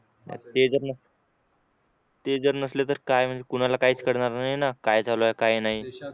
ते जर ते जर नसले तर काय म्हणजे कोणाला काहीच कळणार नाही काय चालू आहे काय नाही